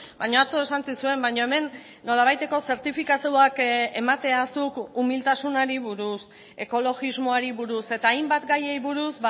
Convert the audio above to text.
baina atzo esan zizuen baina hemen nolabaiteko zertifikatuak ematea zuk umiltasunari buruz ekologismoari buruz eta hainbat gaiei buruz